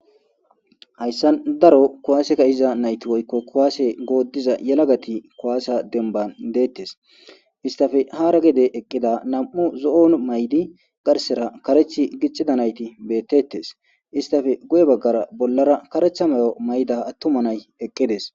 Hayssa daro kuwaaseka iza nayti woykko kuwaase gooddiza yelagati kuwaase demban deettes istafe hara gede eqqida nam7u zo7on maydi garsera karech gicxida nayti beettettes istafe goye baggara bollara kareththa mayo mayda attuma nay eqqides.